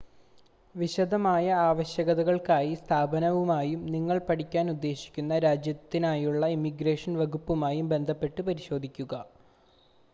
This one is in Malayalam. വിശദമായ ആവശ്യകതകൾക്കായി സ്ഥാപനവുമായും നിങ്ങൾ പഠിക്കാൻ ഉദ്ദേശിക്കുന്ന രാജ്യത്തിനായുള്ള ഇമിഗ്രേഷൻ വകുപ്പുമായും ബന്ധപ്പെട്ട് പരിശോധിക്കുക